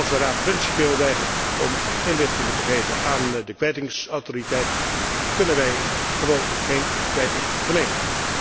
Als de Raad principieel weigert om inlichtingen te geven aan de kwijtingsautoriteit, dan kunnen wij gewoon geen kwijting verlenen.